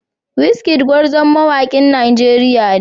Wizkid gwarzon mawakin Najeriya ne.